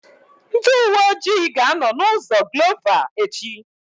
Ndị uwe ọjị ga-anọ na ụzọ Glova echi